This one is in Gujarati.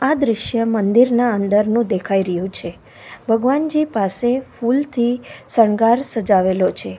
આ દ્રશ્ય મંદિરના અંદરનું દેખાઈ રહ્યું છે ભગવાનજી પાસે ફૂલથી શણગાર સજાવેલો છે.